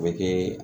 A bɛ kɛ